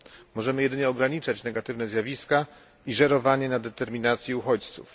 Możemy jedynie ograniczać negatywne zjawiska i żerowanie na determinacji uchodźców.